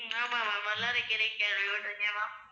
ஆமா ma'am வல்லாரைக்கீரையை கேள்விப்பட்டிருக்கேன் ma'am